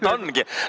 No nad ongi!